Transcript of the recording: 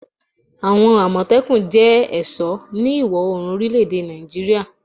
Awon Amotekun jẹ́ ẹ̀sọ́ ní ìwọ̀-orùn orile èdè Nàìjíríà